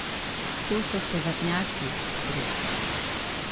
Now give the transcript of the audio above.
To so severnjaki, stric.